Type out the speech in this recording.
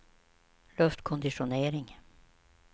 luftkonditionering